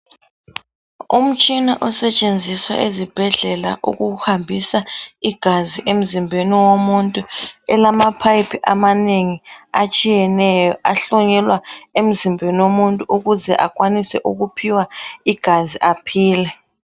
Umtshina osetshenziswa ezibhedlela ukuhambisa igazi emzimbeni womuntu elama phayiphi amanengi atshiyeneyo ahlonyelwa emzimbeni womuntu ukuze akwanise ukuphiwa igazi aphile.